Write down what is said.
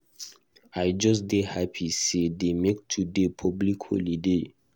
I just dey happy say dey make today public holiday.